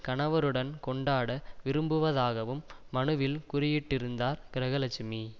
கணவருடன் கொண்டாட விரும்புவதாகவும் மனுவில் குறியிட்டு இருந்தார் கிரகலட்சுமி